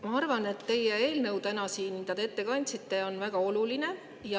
Ma arvan, et see eelnõu, mida te täna siin ette kandsite, on väga oluline.